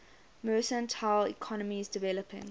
mercantile economies developing